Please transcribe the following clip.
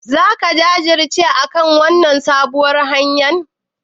Zaka jajirce akan wannan sabuwar hanyar?